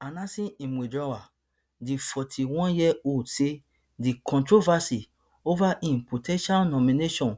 announcing im withdrawal di forty-oneyearold say di controversy over im po ten tial nomination